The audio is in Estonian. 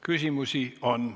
Küsimusi on.